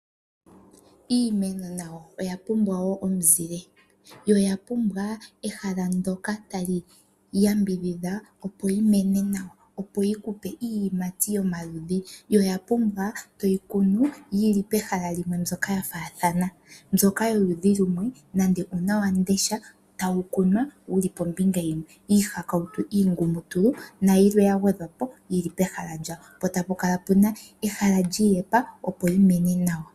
Iimeno nayo oya pumbwa wo omuzile yo oya pumbwa ehala ndyoka tali yambidhidha, opo yi mene nawa, opo yi ku pe iiyimati yomaludhi. Oya pumbwa toyi kunu yi li pehala limwe mbyoka ya faathana. Mbyoka yoludhi lumwe nende uunawamundesha tawu kunwa wu li pombinga yimwe, iihakautu iingumutulu nayilwe ya gwedhwa po yi li pehala limwe. Po tapu kala pu na ehala li iyepa, opo yi mene nawa.